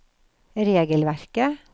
regelverket